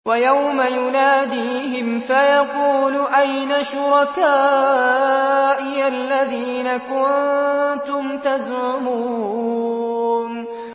وَيَوْمَ يُنَادِيهِمْ فَيَقُولُ أَيْنَ شُرَكَائِيَ الَّذِينَ كُنتُمْ تَزْعُمُونَ